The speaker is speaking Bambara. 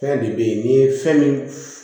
Fɛn de bɛ yen n'i ye fɛn min